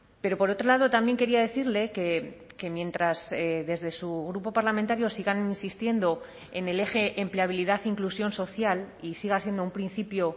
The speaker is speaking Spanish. pero por otro lado también quería decirle que mientras desde su grupo parlamentario sigan insistiendo en el eje empleabilidad inclusión social y siga siendo un principio